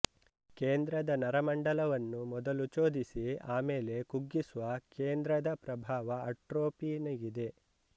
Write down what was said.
ಕೇಂದ್ರದ ನರಮಂಡಲವನ್ನು ಮೊದಲು ಚೋದಿಸಿ ಆಮೇಲೆ ಕುಗ್ಗಿಸುವ ಕೇಂದ್ರದ ಪ್ರಭಾವ ಅಟ್ರೊಪೀನಿಗಿದೆ